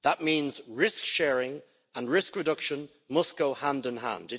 That means risk sharing and risk reduction must go hand in hand.